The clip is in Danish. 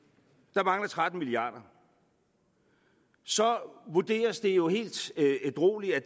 der mangler tretten milliarder så vurderes det jo helt ædrueligt at